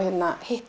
hitti